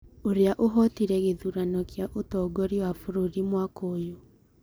ũrĩa ũhootire gĩthurano kĩa ũtongoria wa bũrũri mwaka ũyũ